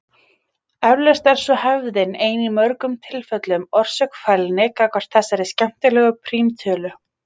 Eflaust er svo hefðin ein í mörgum tilfellum orsök fælni gagnvart þessari skemmtilegu prímtölu.